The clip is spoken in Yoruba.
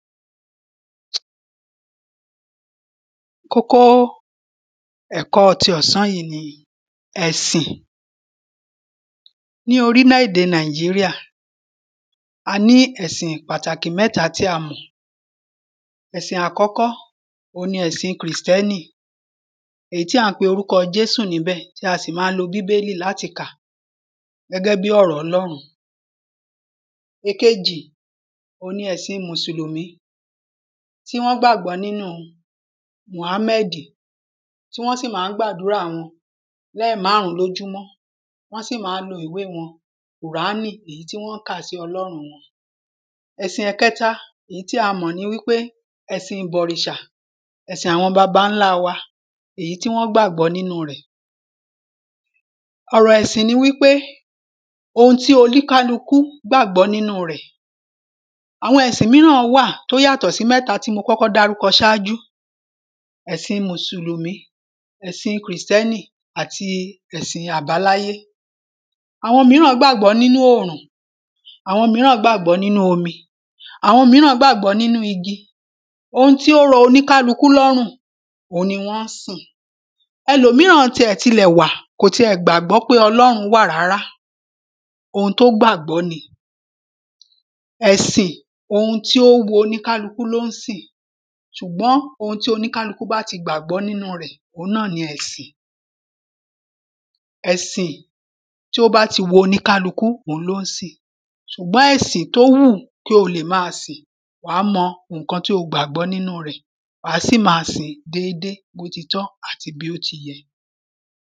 kókó ẹ̀kọ́ tí ọ̀sán yìí ni ẹ̀sìn ní orílẹ̀-ède Nàìjíríà, a ní ẹ̀sìn pàtàkì mẹ́ta tí a mọ̀, ẹ̀sìn àkọ́kọ́ ni kìrìstẹ́nì èyí tí a ń pe orúkọ Jésù níbẹ̀ tí a sì máa ń lo Bíbélì níbẹ̀ láti kà gẹ́gẹ́ bí ọ̀rọ Ọlọ́run èkejì ni ẹ̀sin Mùsùlùmí, tí wọ́n gbàgbọ́ nínú Muhàmẹ́ẹ̀dì, tí wọ́n sì ma ń gbàdúrà wọn lẹ́ẹ̀mrùn ún lójúmọ́. Wọ́n sì ma ń lo ìwe wọn Kùránì, èyí tí wọ́n ń kà sí Ọlọ́run wọn. ẹ̀sin ẹ̀kẹta, èyí tí a mọ̀ ni wípé, ẹ̀sìn ìbọ̀rìṣà, ẹ̀sìn àwọn babańlá, èyí tí wọ́n gbàgbọ́ nínu rẹ̀ ọ̀rọ̀ ẹ̀sìn ni wípé ohun ti oníkálúku gbàgbọ́ nínu rẹ̀. Àwọn ẹ̀sìn míràn wà tó yàtọ̀ sí mẹ́ta tí mo kọ́kọ́ dárúkọ ṣáájú, ẹ̀sin Mùsùlùmí, ẹ̀sin Kìrìsìtẹ́nì, àti ẹ̀sìn àbáláyé àwọn míràn gbàgbọ́ nínú òòrùn, àwọn míràn gbàgbọ́ nínú omi, àwọn míràn gbágbọ̀ọ́ nínú igi. Ohun tí ó rọ oníkálukú lọ́rùn, òun ni wọ́n ń sìn ẹlòmíràn wà tí kò tiẹ̀ gbàgbọ́ pé Ọlọ́run wà rárá, ohun tó gbàgbọ́ ni. ẹ̀sìn èyí tí ó wun oníkálukú ní ó ń sìn. Ṣùgbọ́n ohun tí oníkálukú bá ti gbàgbọ́ nínu rẹ̀, òun náà ni ẹ̀sìn ẹ̀sìn tí ó bá ti wù oníkálukú, òun ló ń sìn. Ṣùgbọ́n ẹ̀sìn èyí tó wù kí ó máa sìn, wàá mọ ohun tí ó gbàgbọ́ nínú rẹ̀, wá sì máa sìn déédéé, bó ti tọ́ àti bó ti yẹ